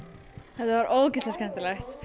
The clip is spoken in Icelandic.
var ógeðslega skemmtilegt